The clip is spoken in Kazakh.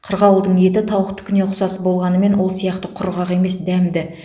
қырғауылдың еті тауықтыкіне ұқсас болғанымен ол сияқты құрғақ емес дәмді